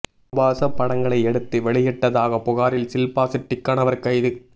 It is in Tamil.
ஆபாச படங்களை எடுத்து வெளியிட்டதாக புகாரில் ஷில்பா ஷெட்டி கணவர் கைது